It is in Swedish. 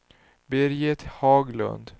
Birgit Haglund